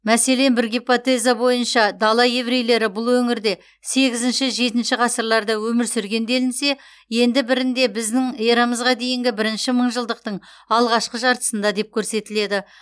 мәселен бір гипотеза бойынша дала еврейлері бұл өңірде сегізінші жетінші ғасырларда өмір сүрген делінсе енді бірінде біздің эрамызға дейінгі бірінші мыңжылдықтың алғашқы жартысында деп көрсетіледі